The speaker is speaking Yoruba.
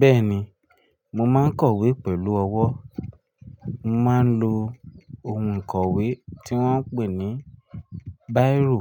Bẹ́ẹ̀ni, mo máa ń kọ̀wé pẹ̀lú ọwọ́. Mo máa ń lo ohun ìkọ̀wé tí wọ́n ń pè ní bírò